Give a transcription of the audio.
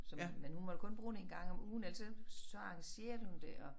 Som men hun måtte kun bruge det en gang om ugen ellers så så arrangerede hun det og